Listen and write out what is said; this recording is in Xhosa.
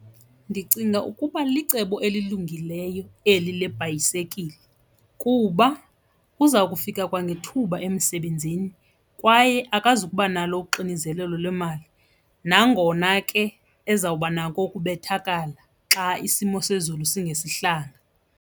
Ndicinga ukuba licebo elilungileyo eli lebhayisekile kuba uza kufika kwangethuba emisebenzini kwaye akazubanalo uxinizelelo lwemali nangona ke ezawubanako ukubethakala xa isimo sezulu singesihlanga.